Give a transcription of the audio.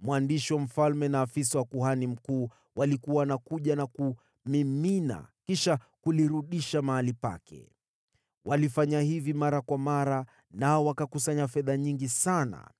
mwandishi wa mfalme na afisa wa kuhani mkuu walikuwa wanakuja na kumimina, kisha kulirudisha mahali pake. Walifanya hivi mara kwa mara, nao wakakusanya fedha nyingi sana.